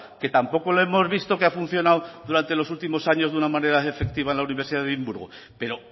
que tampoco lo hemos visto que ha funcionado durante los últimos años de una manera efectiva en la universidad de edimburgo pero